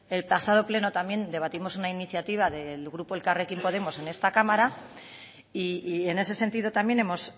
el pasado pleno también debatimos una iniciativa del grupo elkarrekin podemos en esta cámara y en ese sentido también hemos